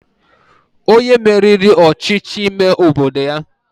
Onye meriri ọchịchị ime obodo ya